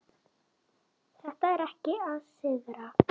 Þetta er ekki að sigra.